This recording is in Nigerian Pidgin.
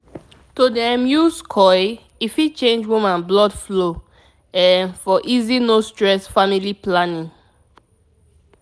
to dey um use coil e fit change woman blood flow um for easy no stress family planning. pause small